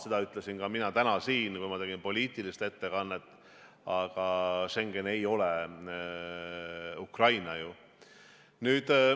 Seda ütlesin ka mina täna siin, kui ma tegin poliitilist ettekannet, aga Schengen ei ole ju Ukraina.